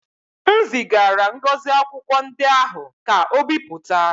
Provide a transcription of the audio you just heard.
M zigara Ngozi akwụkwọ ndị ahụ ka o bipụta